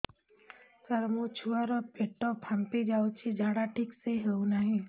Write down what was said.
ସାର ମୋ ଛୁଆ ର ପେଟ ଫାମ୍ପି ଯାଉଛି ଝାଡା ଠିକ ସେ ହେଉନାହିଁ